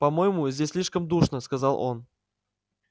по-моему здесь слишком душно сказал он